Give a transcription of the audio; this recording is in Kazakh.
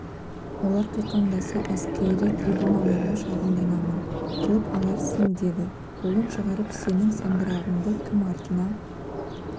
олар қиқаңдаса әскери трибуналға шағымданамын қылып аларсың деді қолын шығарып сенің сандырағыңды кім артына